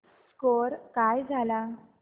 score काय झाला